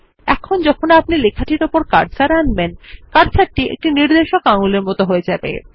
এখন যখন আপনি লেখাটির উপর আপনার কার্সার আনবেন কার্সারটি একটি নির্দেশক আঙুলের মত হয়ে যাবে